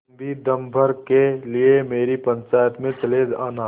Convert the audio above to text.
तुम भी दम भर के लिए मेरी पंचायत में चले आना